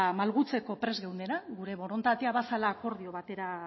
malgutzeko prest geundela gure borondatea bazela akordio batera